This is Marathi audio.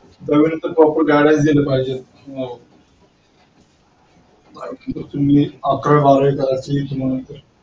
दहावीनंतर proper guidance दिल पाहिजे. मी अकरावी बारावी